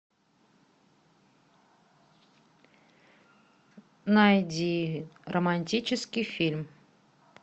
найди романтический фильм